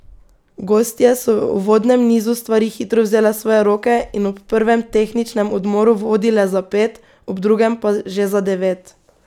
Gostje so v uvodnem nizu stvari hitro vzele v svoje roke in ob prvem tehničnem odmoru vodile za pet, ob drugem pa že za devet.